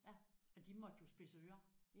Ja og de måtte jo spidse ører